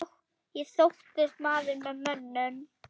Ég þóttist maður með mönnum.